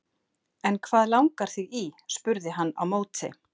En hvað langar þig í? spurði hann á móti.